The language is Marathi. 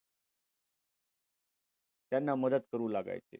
त्यांना मदत करू लागायचं.